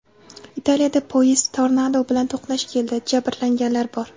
Italiyada poyezd tornado bilan to‘qnash keldi, jabrlanganlar bor.